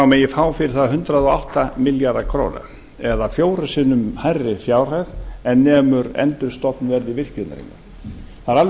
megi fá fyrir það hundrað og átta milljarða króna eða fjórum sinni hærri fjárhæð en nemur endurstofnverði virkjunarinnar það er alveg